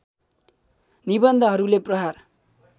निबन्धहरूले प्रहार